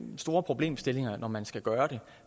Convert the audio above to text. store problemstillinger når man skal gøre det